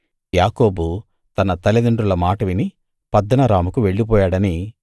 యాకోబు తన తల్లిదండ్రుల మాట విని పద్దనరాముకు వెళ్ళిపోయాడనీ